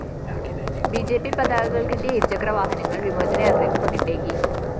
B J P പതാകകള്‍ കെട്ടിയ ഇരുചക്രവാഹനങ്ങള്‍ വിമോചന യാത്രയ്ക്ക് പകിട്ടേകി